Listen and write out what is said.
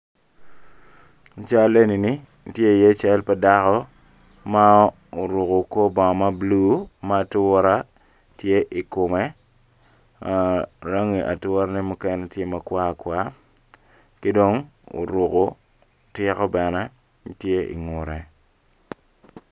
I cal eni ni tye iye cal pa dako ma oruku kor bongo ma bulu ma atura tye i kume ah rangine mukene tye ma kwar kwar ki dong oruko tiko bene tye ingutte